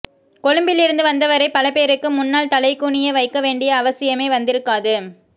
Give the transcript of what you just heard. கொழும்பிலிருந்து வந்தவரை பலபேருக்கு முன்னால் தலைகுனிய வைக்க வேண்டிய அவசியமே வந்திருக்காது